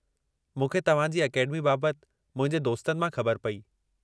मूंखे तव्हां जी अकेडमी बाबति मुंहिंजे दोस्तन मां ख़बर पई।